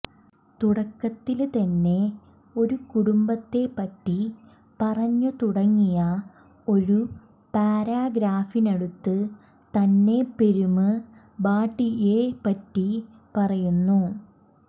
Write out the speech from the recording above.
തുടക്കത്തില് തന്നെ ഒരു കുടുംബത്തെപ്പറ്റി പറഞ്ഞു തുടങ്ങിയ ഒരു പാരഗ്രാഫിനടുത്ത് തന്നെപെരുമ്ബാടിയെപ്പറ്റി പറയുന്നു